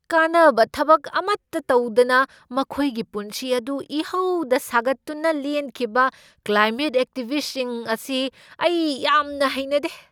ꯀꯥꯟꯅꯕ ꯊꯕꯛ ꯑꯃꯠꯇ ꯇꯧꯗꯅ ꯃꯈꯣꯏꯒꯤ ꯄꯨꯟꯁꯤ ꯑꯗꯨ ꯏꯍꯧꯗ ꯁꯥꯒꯠꯇꯨꯅ ꯂꯦꯟꯈꯤꯕ ꯀ꯭ꯂꯥꯏꯃꯦꯠ ꯑꯦꯛꯇꯤꯚꯤꯁꯠꯁꯤꯡ ꯑꯁꯤ ꯑꯩ ꯌꯥꯝꯅ ꯍꯩꯅꯗꯦ ꯫